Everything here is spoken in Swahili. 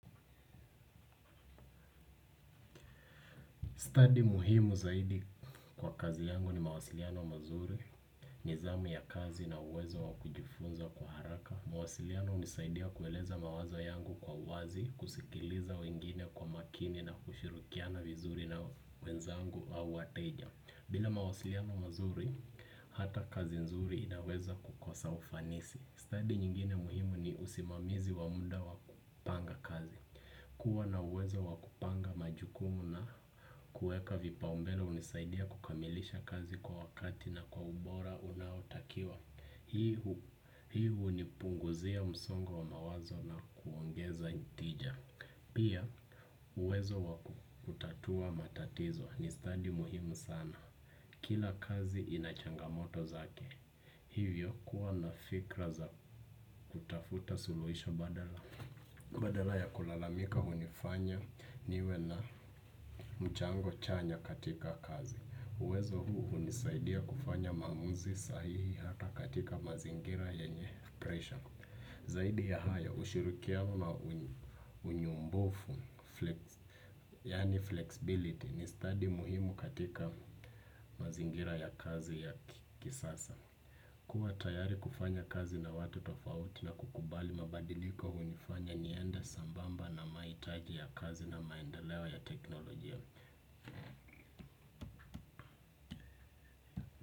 Study muhimu zaidi kwa kazi yangu ni mawasiliano mazuri, ni zamu ya kazi na uwezo wa kujifunza kwa haraka. Mwasiliano hunisaidia kueleza mawazo yangu kwa wazi, kusikiliza wengine kwa makini na kushirikiana vizuri na wenzangu au wateja. Bila mawasiliano mazuri, hata kazi nzuri inaweza kukosa ufanisi. Study nyingine muhimu ni usimamizi wa muda wa kupanga kazi. Kuwa na uwezo wa kupanga majukumu na kueka vipaumbele hunisaidia kukamilisha kazi kwa wakati na kwa ubora unaotakiwa hii. Hii hunipunguzia msongo wa mawazo na kuongeza hitija. Pia uwezo wa kutatua matatizo ni stadi muhimu sana. Kila kazi ina changamoto zake. Hivyo kuwa na fikra za kutafuta suluhisho badala. Badala ya kulalamika hunifanya niwe na mchango chanya katika kazi. Uwezo huu hunisaidia kufanya maamuzi sahihi hata katika mazingira yenye pressure. Zaidi ya hayo ushirukiano na unyombofu yaani flexibility ni stadi muhimu katika mazingira ya kazi ya kisasa. Kuwa tayari kufanya kazi na watu tofauti na kukubali mabadiliko hunifanya niende sambamba na mahitaji ya kazi na maendeleo ya teknolojia.